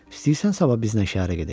İstəyirsən sabah bizlə şəhərə gedək?